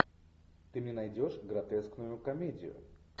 ты мне найдешь гротескную комедию